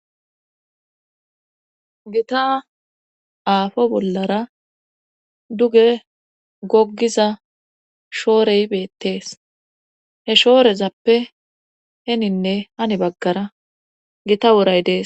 gita aafo bollara duge goggiza shoorey beettees he shoorezappe heninne hani baggara gita woray dees